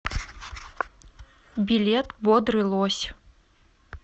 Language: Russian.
билет бодрый лось